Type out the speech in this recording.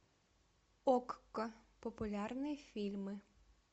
окко популярные фильмы